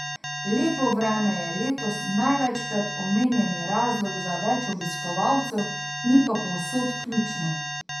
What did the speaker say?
Lepo vreme je letos največkrat omenjeni razlog za več obiskovalcev, ni pa povsod ključno.